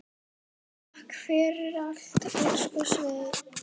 Takk fyrir allt, elsku Svenni.